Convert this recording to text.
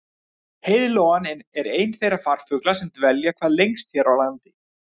Heiðlóan er einn þeirra farfugla sem dvelja hvað lengst hér á landi.